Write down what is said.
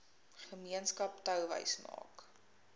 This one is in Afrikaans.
gemeenskap touwys maak